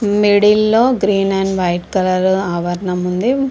Middle లొ green and white అవరణము ఉంది.